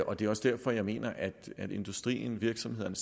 og det er også derfor jeg mener at industrien virksomhederne